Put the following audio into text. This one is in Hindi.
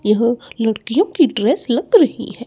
यह लड़कियों की ड्रेस लग रही है।